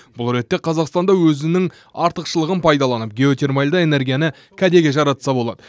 бұл ретте қазақстан да өзінің артықшылығын пайдаланып геотермальды энергияны кәдеге жаратса болады